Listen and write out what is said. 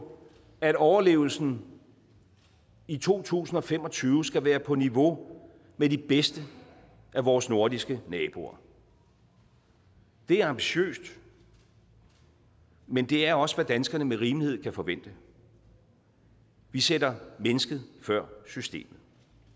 at overlevelsen i to tusind og fem og tyve skal være på niveau med de bedste af vores nordiske naboers det er ambitiøst men det er også hvad danskerne med rimelighed kan forvente vi sætter mennesket før systemet